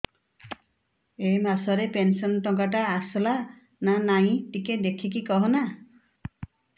ଏ ମାସ ରେ ପେନସନ ଟଙ୍କା ଟା ଆସଲା ନା ନାଇଁ ଟିକେ ଦେଖିକି କହନା